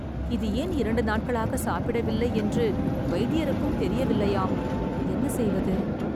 இது ஏன் இரண்டு நாட்களாக சாப்பிடவில்லை என்று வைத்தியருக்கும் தெரியவில்லையாம். என்ன செய்வது?